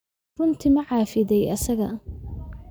Runtii ma cafiday isaga?